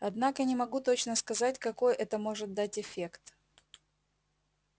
однако не могу точно сказать какой это может дать эффект